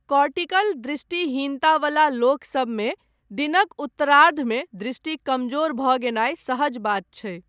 Cortical दृष्टिहीनता वला लोकसभमे दिनक उत्तरार्धमे दृष्टि कमजोर भऽ गेनाय सहज बात छै।